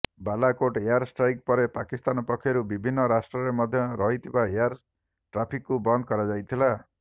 Balakot air strike ପରେ ପାକିସ୍ତାନ ପକ୍ଷରୁ ବିଭିନ୍ନ ରାଷ୍ଟ୍ର ମଧ୍ୟରେ ରହିଥିବା ଏୟାର ଟ୍ରାଫିକ୍କୁ ବନ୍ଦ କରାଯାଇଥିଲା